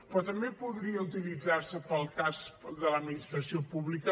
però també podria utilitzar se per al cas de l’administració pública